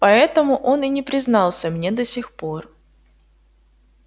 поэтому он и не признался мне до сих пор